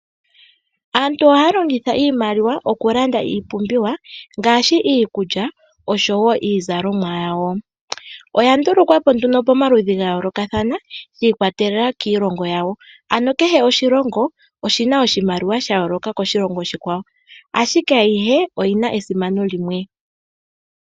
Aantu ohaya longitha iimaliwa okulanda iipumbiwa ngaashi iikulya oshowo iizalomwa yawo. Oya ndulukwa po nduno pomaludhi ga yoolokathana shiikwatelela kiilongo yawo, ano kehe oshilongo oshina oshimaliwa sha yooloka koshilongo oshikwawo. Ashike ayihe oyina esimano limwe.